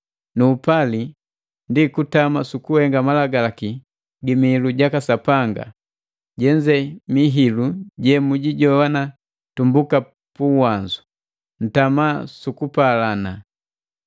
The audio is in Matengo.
Nu upali ndi kutama sukuhenga malagalaki gi mihilu jaka Sapanga. Jenze ndi mihilu jemujijoana tumbuka pu uwanzu: Ntama su kupalana.